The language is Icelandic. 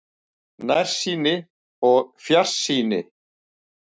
NÆRSÝNI OG FJARSÝNI